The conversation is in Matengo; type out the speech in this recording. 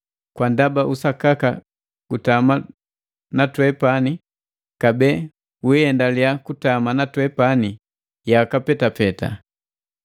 kwa ndaba usakaka gutama na twepani kabee wiiendalia kutama na twepani yaka petapeta.